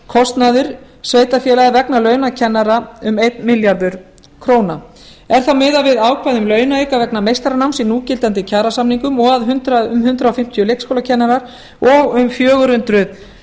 viðbótarkostnaður sveitarfélaga vegna launa kennara um einn milljarður króna er þá miðað við ákvæði launa vegna meistaranáms í núgildandi kjarasamningum og að um hundrað fimmtíu leikskólakennarar og um fjögur hundruð